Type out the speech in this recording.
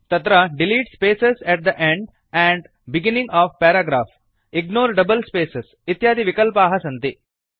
तत्र delete spaces at the end and beginning of paragraph ignore double spaces इत्यादि विकल्पाः सन्ति